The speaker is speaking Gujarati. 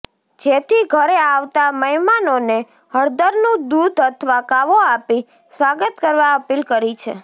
જેથી ઘરે આવતા મહેમાનોને હળદરનું દૂધ અથવા કાવો આપી સ્વાગત કરવા અપીલ કરી છે